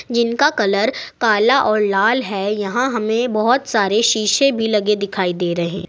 जिनका कलर काला और लाल है यहां हमें बहुत सारे शीशे भी लगे दिखाई दे रहे--